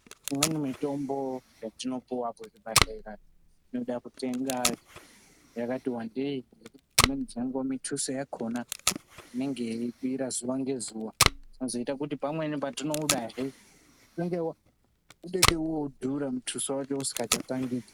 Imweni mitombo yatinopuwa kuzvibhedhleya inoda kutenga yakati wandeyi ngekuti dzimweni dzenguva mithuso yakhona inenge yeikwira zuva ngezuva zvinoita kuti pamweni patinoida hee inenge yakwira mithuso yakhona isingachatangiki.